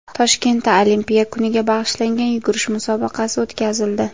Toshkentda Olimpiya kuniga bag‘ishlangan yugurish musobaqasi o‘tkazildi.